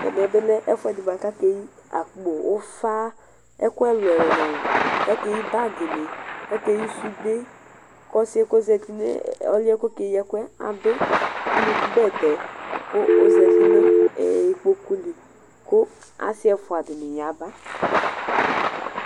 Ɛmɛbi lɛ ɛfʋɛdi kʋ akeyi akpo ʋfa ɛkʋ ɛlʋ ɛlʋ ɛlʋ kʋ akeyi bagini akeyi sude kʋ ɔsi yɛ kʋ ɔzati ɔlʋ yɛ kʋ ekeyi ɛkʋ yɛ adʋ bɛtɛ kʋ ɔzati nʋ ukpokʋ li kʋ asi ɛfʋa dini yaba